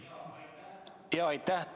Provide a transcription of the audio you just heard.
Aitäh!